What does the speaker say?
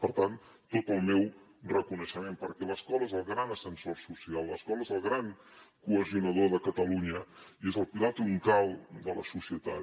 per tant tot el meu reconeixement perquè l’escola és el gran ascensor social l’escola és el gran cohesionador de catalunya i és el pilar troncal de la societat